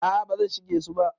A'a ba zan shige su ba.